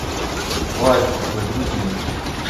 ластик загрузи